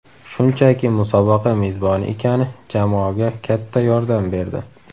Shunchaki musobaqa mezboni ekani jamoaga katta yordam berdi.